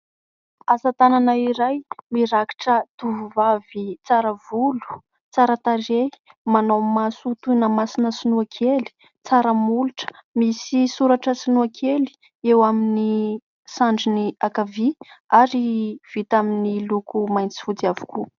Asatanana iray, mirakitra tovovavy tsara volo, tsara tarehy, manao maso toy ny masona sinoakely, tsara molotra ; misy soratra sinoakely eo amin'ny sandriny ankavia ary vita amin'ny loko mainty sy fotsy avokoa.